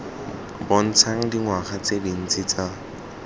bontshang dingwaga tse dintsi tsa